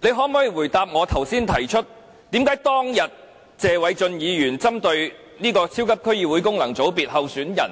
你可否回答我剛才提出為何當日謝偉俊議員針對超級區議會功能界別候選人......